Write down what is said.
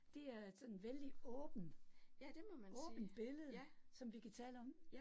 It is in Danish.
Det er et sådan vældig åbent, åbent billede, som vi kan tale om